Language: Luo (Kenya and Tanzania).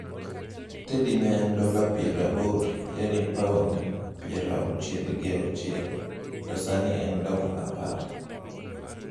Teddie ne en dola piero abor (paond piero auchiel gi auchiel), to sani en dola apar.